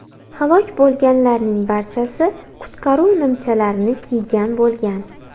Halok bo‘lganlarning barchasi qutqaruv nimchalarini kiygan bo‘lgan.